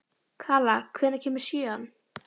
Kala, hvenær kemur sjöan?